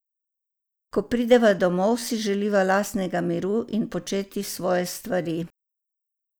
Ko prideva domov, si želiva lastnega miru in početi svoje stvari.